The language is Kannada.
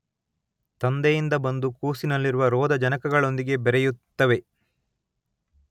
ತಂದೆಯಿಂದ ಬಂದು ಕೂಸಿನಲ್ಲಿರುವ ರೋಧಜನಕಗಳೊಂದಿಗೆ ಬೆರೆಯುತ್ತವೆ